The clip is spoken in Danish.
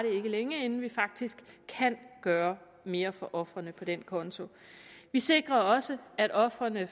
ikke længe inden vi faktisk kan gøre mere for ofrene på den konto vi sikrer også at ofrene